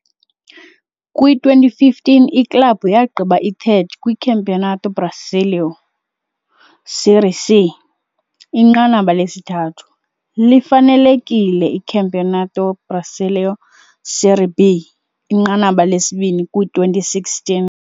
Kwi-2015 iklabhu yagqiba i-3rd kwiCampeonato Brasileiro - Série C inqanaba lesithathu, lifanelekile iCampeonato Brasileiro - Série B, inqanaba lesibini kwi-2016.